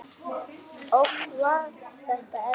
Oft var þetta erfitt.